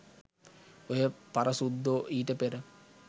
ඔය පරසුද්දෝ ඊට පෙර